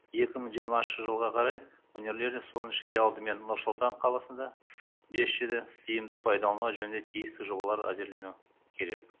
екі мың жиырмасыншы жылға қарай өңірлерде соның ішінде алдымен нұр сұлтан қаласында бес джиді тиімді пайдалану жөнінде тиісті жобалар әзірлену керек